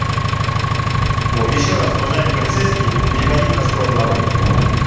вот ещё раз уважаемый полицейский переходить на сторону народа